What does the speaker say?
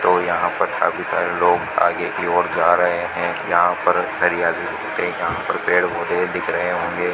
और यहां पर काफी सारे लोग आगे की ओर जा रहे हैं यहां पर हरियाली पेड़ पौधे दिख रहे होंगे।